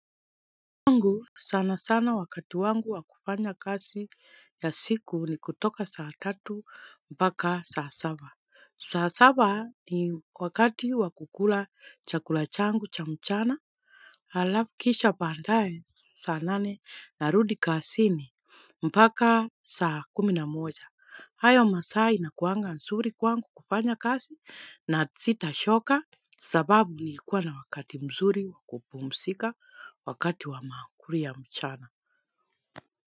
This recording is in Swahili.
Kwangu sana sana wakati wangu wa kufanya kazi ya siku ni kutoka saa tatu mpaka saa saba. Saa saba ni wakati wa kukula chakula changu cha mchana alafu kisha baadaye saa nane narudi kazini mpaka saa kumi na moja. Hayo masaa inakuanga nzuri kwangu kufanya kazi na sita choka sababu nilikuwa na wakati mzuri wa kupumzika wakati wa maakuli ya mchana.